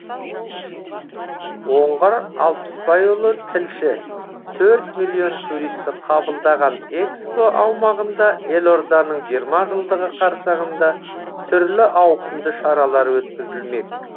оңғар алпысбайұлы тілші төрт миллион туристі қабылдаған экспо аумағында елорданың жиырма жылдығы қарсаңында түрлі ауқымды шаралар өткізілмек